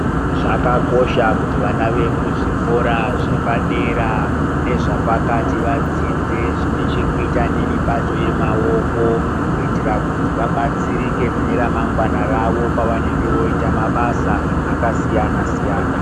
Zvakakosha kuti vana vemuzvikora zvepadera nezvapakati vadzidze zvinechekuita nemibato yemaoko. Kuitira kuti vabatsirike mune ramangwana rawo pavanenge voita mabasa akasiyana-siyana.